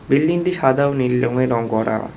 বিল্ডিংটি সাদা ও নীল রঙে রং করা।